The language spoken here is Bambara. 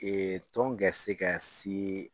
tɔn ga se ka se